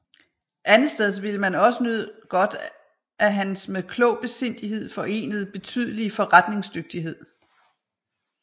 Andetsteds ville man også nyde godt af hans med klog besindighed forenede betydelige forretningsdygtighed